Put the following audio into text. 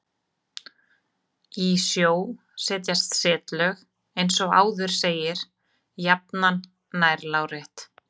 Í sjó setjast setlög, eins og áður segir, jafnan nær lárétt.